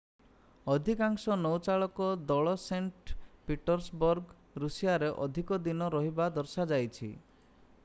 ଅଧିକାଂଶ ନୌଚାଳକ ଦଳ ସେଣ୍ଟ ପିଟର୍ସବର୍ଗ ରୁଷିଆରେ ଅଧିକ ଦିନ ରହିବା ଦର୍ଶାଯାଇଛି